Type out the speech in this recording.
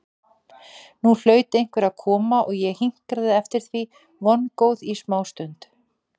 Nú hlaut einhver að koma og ég hinkraði eftir því vongóð í smástund.